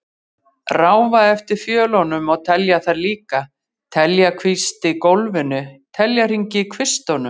Ráfa eftir fjölunum og telja þær líka, telja kvisti í gólfinu, telja hringi í kvistunum.